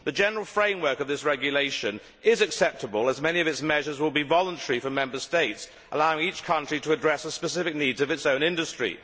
The general framework of this regulation is acceptable, as many of its measures will be voluntary for Member States, allowing each country to address the specific needs of its own industry.